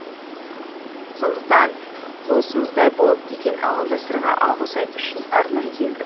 сондықтан туысымыздай болып кеткен ауылдастарға алғыс айту үшін арнайы келдік